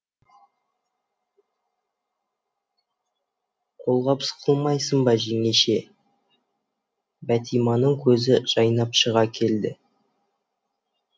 қолғабыс қылмайсың ба жеңеше бәтиманың көзі жайнап шыға келді